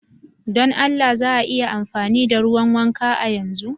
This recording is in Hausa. Don Allah za a iya amfani da ruwan wanka a yanzu?